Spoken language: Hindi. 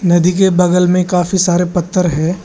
नदी के बगल में काफी सारे पत्थर है।